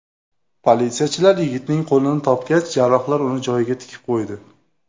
Politsiyachilar yigitning qo‘lini topgach, jarrohlar uni joyiga tikib qo‘ydi.